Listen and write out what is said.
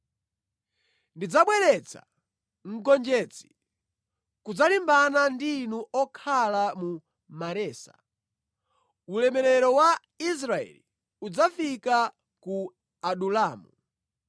Ndidzabweretsa mgonjetsi kudzalimbana ndi inu okhala mu Maresa. Ulemerero wa Israeli udzafika ku Adulamu.